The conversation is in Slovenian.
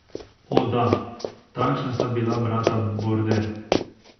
O, da, takšna sta bila brata Border.